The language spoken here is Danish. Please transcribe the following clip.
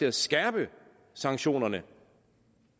at skærpe sanktionerne